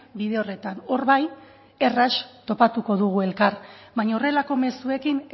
bide horretan hor bai erraz topatuko dugu elkar baina horrelako mezuekin